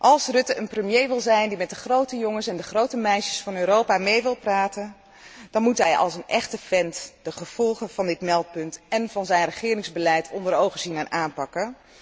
Als Rutte een premier wil zijn die met de grote jongens en de grote meisjes van Europa mee wil praten, dan moet hij als een echte vent de gevolgen van dit meldpunt en van zijn regeringsbeleid onder ogen zien en aanpakken.